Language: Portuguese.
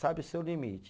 Sabe o seu limite.